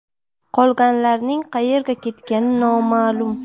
Qolganlarning qayerga ketgani noma’lum.